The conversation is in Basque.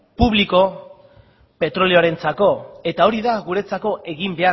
publiko petrolioarentzako eta hori da guretzako egin